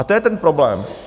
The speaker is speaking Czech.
A to je ten problém.